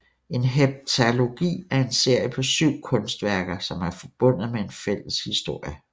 En heptalogi er en serie på syv kunstværker som er forbundet med en fælles historie